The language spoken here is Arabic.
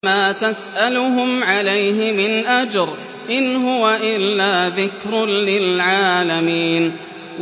وَمَا تَسْأَلُهُمْ عَلَيْهِ مِنْ أَجْرٍ ۚ إِنْ هُوَ إِلَّا ذِكْرٌ لِّلْعَالَمِينَ